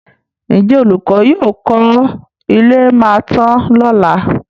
Ǹjẹ́ olùkọ́ yóò kọ́ ilé máa tán lọ́lá?